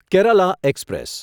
Kerala express